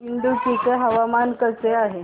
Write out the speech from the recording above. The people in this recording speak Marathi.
इडुक्की चे हवामान कसे आहे